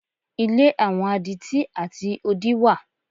Ilé àwọn adití àti odí wà.